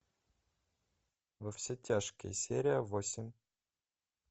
во все тяжкие серия восемь